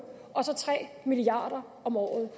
og så tre milliard kroner om året